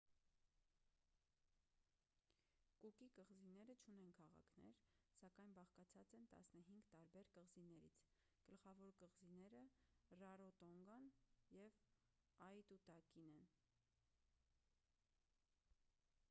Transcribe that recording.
կուկի կղզիները չունեն քաղաքներ սակայն բաղկացած են 15 տարբեր կղզիներից գլխավոր կղզիները ռարոտոնգան և աիտուտակին են